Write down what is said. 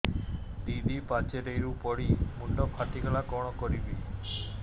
ଦିଦି ପାଚେରୀରୁ ପଡି ମୁଣ୍ଡ ଫାଟିଗଲା କଣ କରିବି